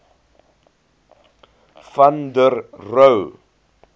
van der rohe